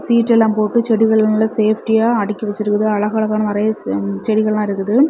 சீட்டெல்லாம் எல்லா போட்டு செடிகள் நல்லா சேஃப்டியா அடுக்கி வச்சிருக்குது அழகழகான நிறைய செடிகள் எல்லா இருக்குது.